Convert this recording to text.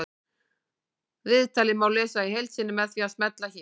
Viðtalið má lesa í heild sinni með því að smella hér